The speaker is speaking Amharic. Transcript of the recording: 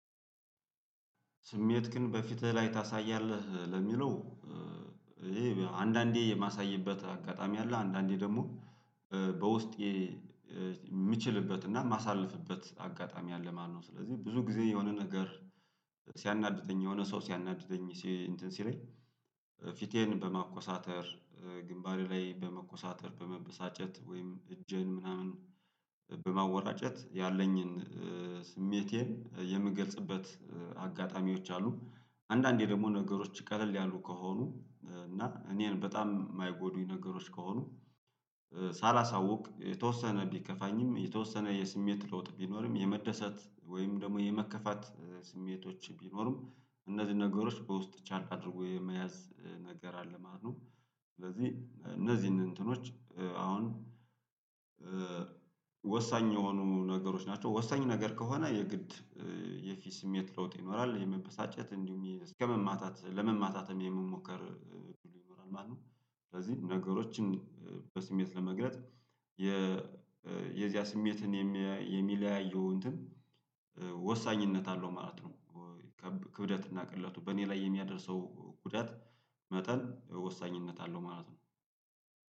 ስሜት ግን በፊትህ ላይ ታሳያለህ ለሚለው? ይሄ አንዳንዴ የማሳይበት አጋጣሚ አለ አንዳንዴ ደግሞ በውስጤ የምችልበት እና የማሳልፍበት አጋጣሚ አለ ማለት ነው። ስለዚህ ብዙ ጊዜ የሆነ ነገር ሲያናድደኝ የሆነ ሰው ሲያናድደኝ ሲ እንትን ሲለኝ ፊቴን በማኮሳተር ግንባሬ ላይ በመኮሳተር በመበሳጨት ወይም እጄን ምናምን በማወራጨት ያለኝን ስሜቴን የምገልጽበት አጋጣሚዎች አሉ። አንዳንዴ ደግሞ ነገሮች ቀለል ያሉ ከሆኑ እና እኔን በጣም የማይጎዱኝ ነገሮች ከሆኑ ሳላሳውቅ የተወሰነ ቢከፋኝም የተወሰነ የስሜት ለውጥ ቢኖርም የመደሰት ወይም ደግሞ የመከፋት ስሜቶች ቢኖርም እነዚህ ነገሮች በውስጥ ቻል አድርጎ የመያዝ ነገር አለ ማለት ነው። ስለዚህ እነዚህን እንትኖች አሁን ወሳኝ የሆኑ ነገሮች ናቸው ወሳኝ ነገር ከሆነ የግድ የፊት ስሜት ለውጥ ይኖራል የመበሳጨት እንዲሁም እስከመማታት ለመማታትም የመሞከር ብሎ ይኖራል ማለት ነው። ስለዚህ ነገሮችን በስሜት ለመግለጽ የዚያ ስሜትን የሚለያየው እንትን ወሳኝነት አለው ማለት ነው። ክብደት እናቅለቱ በእኔ ላይ የሚያደርሰው ጉዳት መጠን ወሳኝነት አለው ማለት ነው።